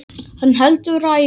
Hann heldur ræðu.